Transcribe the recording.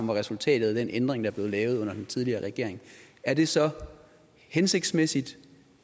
var resultatet af den ændring der blev lavet under den tidligere regering er det så hensigtsmæssigt